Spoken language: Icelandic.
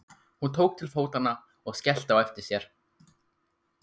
Hún tók til fótanna og skellti á eftir sér.